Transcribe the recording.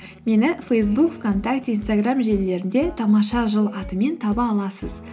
мені фейсбук вконтакте инстаграм желілерінде тамаша жыл атымен таба аласыз